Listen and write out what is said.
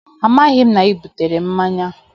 Amaghị m na ị butere mmanya